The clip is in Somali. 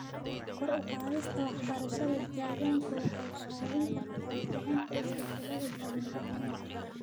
Kor u qaadista waxbarashada deegaanka waxay ka caawin kartaa kicinta isbeddelada dabeecadaha.